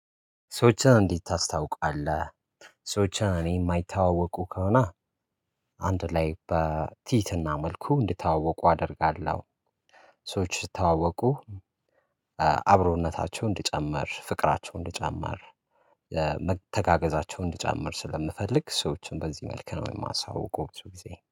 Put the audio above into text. ሰዎችን እንዴት ታስውቃለህ? ሰዎችን እኔ የማይተዋወቁ ከሆነ አንድ ላይ በቲትህና መልኩ እንዲተዋወቁ አደርጋለሁ። ሰዎች ስተዋወቁ አብሮነታቸው እንድጨምር ፍቅራቸው እንድጨምር መተጋገዛቸውን እንድጨምር ስለምፈልግ ሰዎችን በዚህ መልኩ ነው የማሳውቀው። ብዙ ጊዜ